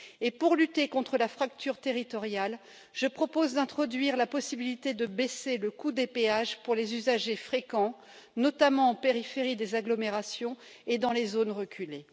Et pour lutter contre la fracture territoriale, je propose d'introduire la possibilité de baisser le coût des péages pour les usagers fréquents, notamment en périphérie des agglomérations et dans les zones reculées.